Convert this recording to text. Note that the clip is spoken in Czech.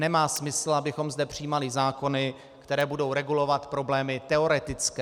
Nemá smysl, abychom zde přijímali zákony, které budou regulovat problémy teoretické.